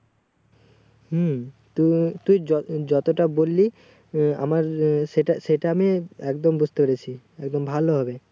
হুম তো তোর যত যতটা বল্লি আহ আমার সেটা সেটা আমি একদম বুজতে পেরেছি একদম ভালো ভাবে